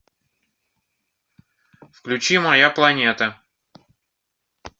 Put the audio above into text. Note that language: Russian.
включи моя планета